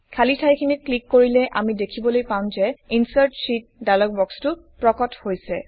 খালি ঠাইখনত ক্লিক কৰিলে আমি দেখিবলৈ পাম যে ইনচাৰ্ট শীত ডায়লগ বক্সটো প্ৰকট হৈছে